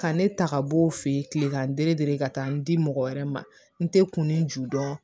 Ka ne ta ka b'o fɛ yen kilegan ka taa n di mɔgɔ wɛrɛ ma n tɛ kunnin ju dɔn